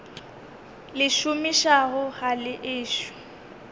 le šomišago ga le ešo